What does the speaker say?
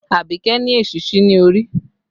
Abike ni èsísí ní orí